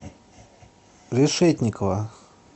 решетникова